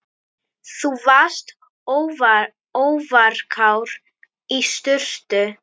Þú varst óvarkár í sturtu.